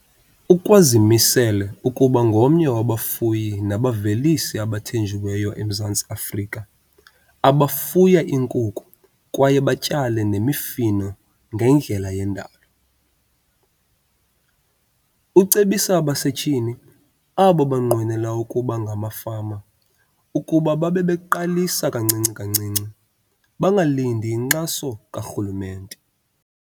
Ukwazimisele ukuba ngomnye wabafuyi nabavelisi abathenjiweyo eMzantsi Afrika abafuya iinkukhu kwaye batyale nemifuno ngendlela yendalo. Ucebisa abasetyhini abo banqwenela ukuba ngamafama ukuba babebeqalisa kancinci kancinci, bangalindi inkxaso karhulumente.